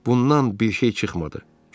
Bundan bir şey çıxmadı.